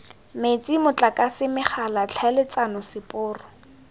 metsi motlakase megala tlhaeletsano seporo